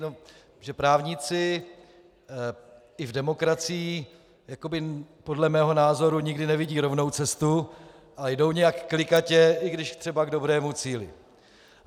Protože právníci i v demokracii podle mého názoru nikdy nevidí rovnou cestu a jdou nějak klikatě, i když třeba k dobrému cíli.